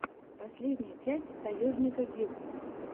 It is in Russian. последняя часть таежника гил